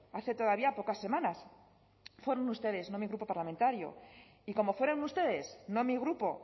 hace todavía pocas semanas fueron ustedes no mi grupo parlamentario y como fueron ustedes no mi grupo